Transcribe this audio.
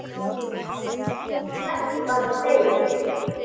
Og ekki bara þeir.